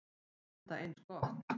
Enda eins gott.